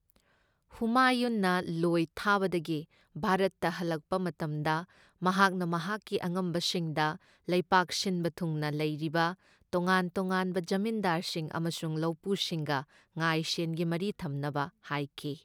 ꯍꯨꯃꯥꯌꯨꯟꯅ ꯂꯣꯢ ꯊꯥꯕꯗꯒꯤ ꯚꯥꯔꯠꯇ ꯍꯜꯂꯛꯄ ꯃꯇꯝꯗ ꯃꯍꯥꯛꯅ ꯃꯍꯥꯛꯀꯤ ꯑꯉꯝꯕꯁꯤꯡꯗ ꯂꯩꯕꯥꯛ ꯁꯤꯟꯕ ꯊꯨꯡꯅ ꯂꯩꯔꯤꯕ ꯇꯣꯉꯥꯟ ꯇꯣꯉꯥꯟꯕ ꯖꯃꯤꯟꯗꯥꯔꯁꯤꯡ ꯑꯃꯁꯨꯡ ꯂꯧꯄꯨꯁꯤꯡꯒ ꯉꯥꯢ ꯁꯦꯟꯒꯤ ꯃꯔꯤ ꯊꯝꯅꯕ ꯍꯥꯢꯈꯤ